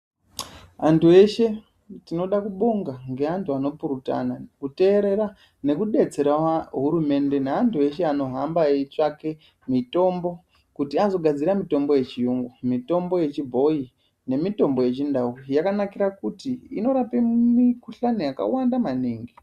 Antu eshe tinoda kubonga ngeantu anopurutana, kuteerera nekudetserawo hurumende neantu eshe anohamba eitsvake mitombo kuti azogadzira mitombo yechuyungu. Mitombo yechibhoyi nemitombo yechindau yakanakira kuti inorape mikhuhlane yakawanda maningi.